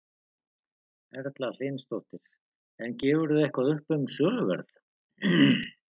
Erla Hlynsdóttir: En gefurðu eitthvað upp um söluverð?